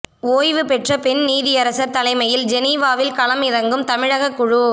ஓய்வுபெற்ற பெண் நீதியரசர் தலைமையில் ஜெனீவாவில் களம் இறங்கும் தமிழக குழு